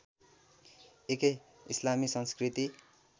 एकै इस्लामी संस्कृति